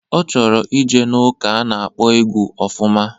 Ọ chọrọ ije n'ụka a na-akpọ egwu ofụma.